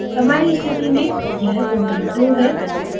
हमारी स्थिति में यह protein 2 है